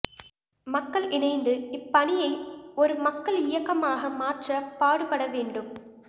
மக்கள் இணைந்து இப்பணியை ஒரு மக்கள் இயக்கமாக மாற்ற பாடுபடவேண்டும்